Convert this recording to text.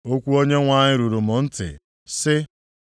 Okwu Onyenwe anyị ruru m ntị, sị,